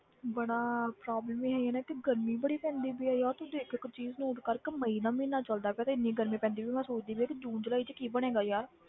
ਬੜਾ problem ਹੀ ਇਹੀ ਆ ਨਾ ਕਿ ਗਰਮੀ ਬੜੀ ਪੈਂਦੀ ਪਈ ਹੈ ਯਾਰ ਤੂੰ ਦੇਖ ਇੱਕ ਚੀਜ਼ note ਕਰ ਕਿ ਮਈ ਦਾ ਮਹੀਨਾ ਚੱਲਦਾ ਪਿਆ ਤੇ ਇੰਨੀ ਗਰਮੀ ਪੈਂਦੀ ਵੀ ਮੈਂ ਸੋਚਦੀ ਪਈ ਹਾਂ ਕਿ ਜੂਨ ਜੁਲਾਈ 'ਚ ਕੀ ਬਣੇਗਾ ਯਾਰ।